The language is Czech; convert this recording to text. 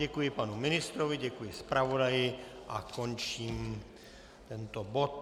Děkuji panu ministrovi, děkuji zpravodaji a končím tento bod.